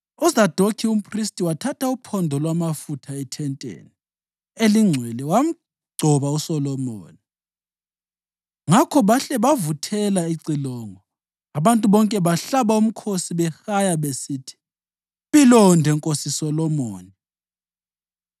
UZadokhi umphristi wathatha uphondo lwamafutha ethenteni elingcwele wagcoba uSolomoni. Ngakho bahle bavuthela icilongo, abantu bonke bahlaba umkhosi behaya besithi, “Mpilonde Nkosi Solomoni!”